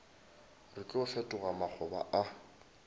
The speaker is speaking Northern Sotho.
re tlo fetoga makgoba a